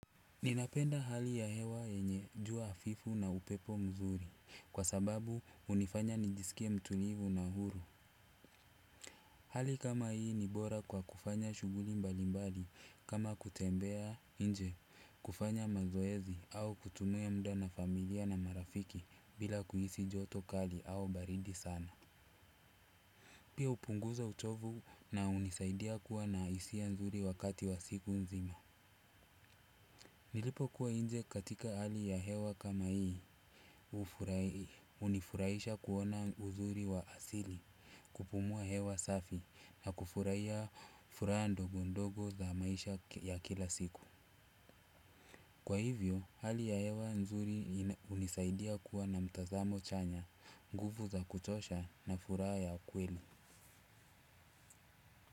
Ninapenda hali ya hewa yenye jua hafifu na upepo mzuri kwa sababu hunifanya nijisikie mtulivu na huru. Hali kama hii ni bora kwa kufanya shughuli mbalimbali kama kutembea nje kufanya mazoezi au kutumia muda na familia na marafiki bila kuhisi joto kali au baridi sana. Pia hupunguza uchovu na hunisaidia kuwa na hisia nzuri wakati wa siku nzima. Nilipokuwa nje katika hali ya hewa kama hii hunifuraisha kuona uzuri wa asili kupumua hewa safi na kufurahia furaha ndogo ndogo za maisha ya kila siku. Kwa hivyo hali ya hewa nzuri hunisaidia kuwa na mtazamo chanya nguvu za kutosha na furaha ya kweli.